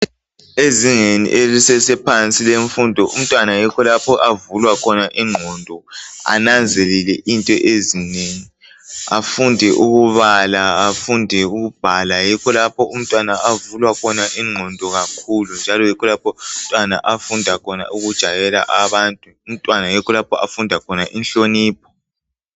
Ezingeni elisesephansi lemfundo umntwana yikho lapho avulwa khona ingqondo ananzelele into ezinengi afunde ukubala, afunde ukubhala. Yikho lapho umntwana avulwa khona ingqondo kakhulu njalo yikho lapho umntwana afunda khona ukujayela abantu, yikho lapho umntwana afunda khona inhlonipho.